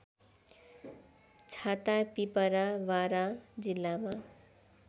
छातापिपरा बारा जिल्लामा